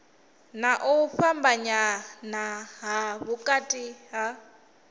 na u fhambanya vhukati ha